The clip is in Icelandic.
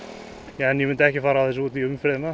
en ég myndi ekki fara á þessu út í umferðina